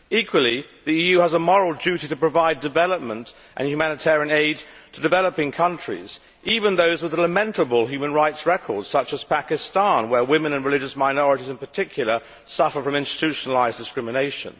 Equally, the EU has a moral duty to provide development and humanitarian aid to developing countries, even those with a lamentable human rights record, such as Pakistan where women and religious minorities in particular suffer from institutionalised discrimination.